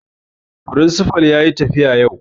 Firinsifa yayi tafiya yau